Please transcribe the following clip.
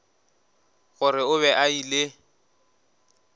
gore o be a ile